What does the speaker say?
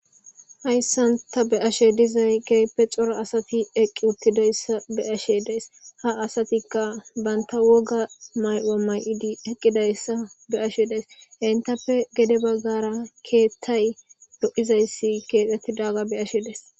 hayssan ta be7ashe dizay keeppe cora asati eqqi uttidayssa be ashe dees ha asatikka banta woga may7oa may7idi eqqidayssa be ashe dees intappe gede baggara keettay do7izayssi keexettidaga be ashe dees